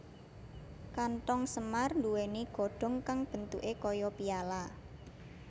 Kanthong semar nduwèni godhong kang bentuké kaya piala